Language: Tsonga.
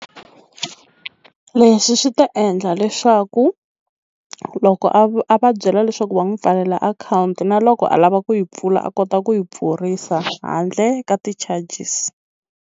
Leswi swi ta endla leswaku loko a va byela leswaku va n'wi pfalela akhawunti na loko a lava ku yi pfula a kota ku yi pfurisa handle ka ti-charges.